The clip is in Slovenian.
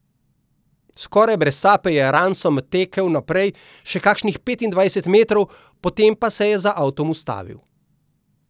Skorajda brez sape je Ransom tekel naprej še kakšnih petindvajset metrov, potem pa se je za avtom ustavil.